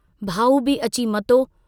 भाऊ बि अची मतो